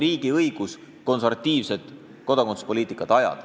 Riigil on õigus ajada konservatiivset kodakondsuspoliitikat.